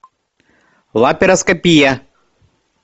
лапароскопия